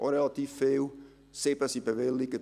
das sind auch relativ viele.